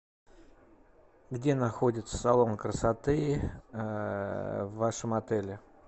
где находится салон красоты в вашем отеле